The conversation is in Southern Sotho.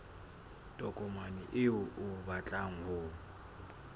tokomane eo o batlang ho